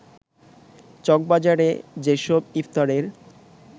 চকবাজারে যেসব ইফতারের